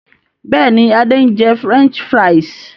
Bẹ́ẹ̀ni, Adé ń jẹ "French fries".